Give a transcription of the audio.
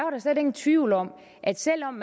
slet ingen tvivl om at selv om